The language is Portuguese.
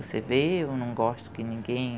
Você vê, eu não gosto que ninguém